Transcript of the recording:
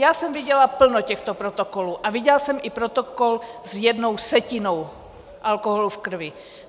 Já jsem viděla plno těchto protokolů a viděla jsem i protokol s jednou setinou alkoholu v krvi.